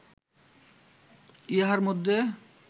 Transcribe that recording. ইহার মধ্যে